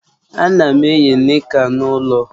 Ana m eyi nika n'ulo